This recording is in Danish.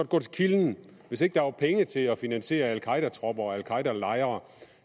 gå til kilden hvis ikke der var penge til at finansiere al qaeda tropper og al qaeda lejre